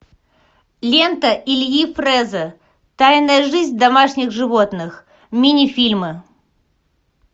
лента ильи фреза тайная жизнь домашних животных мини фильмы